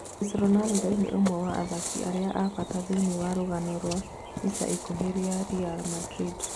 "Chris Ronando nĩ ũmwe wa athaki arĩa a bata thīiniī wa rūgano rwa ica ikuhĩ ria Ria Mandrinda.